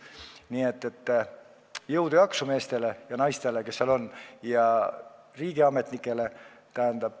Nii et jõudu ja jaksu meestele ja naistele, kes seal on, ja riigiametnikele!